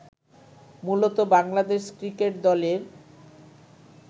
মূলত বাংলাদেশ ক্রিকেট দলের